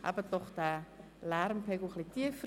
Halten Sie doch den Lärmpegel etwas tiefer!